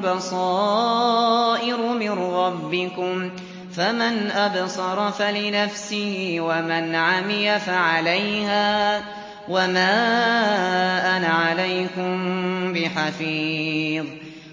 بَصَائِرُ مِن رَّبِّكُمْ ۖ فَمَنْ أَبْصَرَ فَلِنَفْسِهِ ۖ وَمَنْ عَمِيَ فَعَلَيْهَا ۚ وَمَا أَنَا عَلَيْكُم بِحَفِيظٍ